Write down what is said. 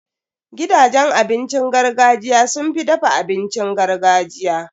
Gidajen abincin gargajiya sun fi dafa abincin gargajiya.